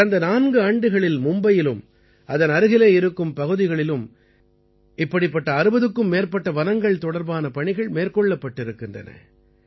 கடந்த நான்கு ஆண்டுகளில் மும்பையிலும் அதன் அருகிலே இருக்கும் பகுதிகளிலும் இப்படிப்பட்ட 60க்கும் மேற்பட்ட வனங்கள் தொடர்பான பணிகள் மேற்கொள்ளப்பட்டிருக்கின்றன